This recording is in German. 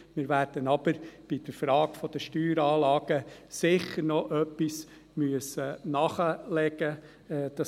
Wir werden aber bei der Frage der Steueranlagen sicher noch etwas nachlegen müssen.